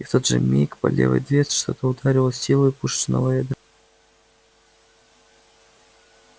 и в тот же миг по левой дверце что-то ударило с силой пушечного ядра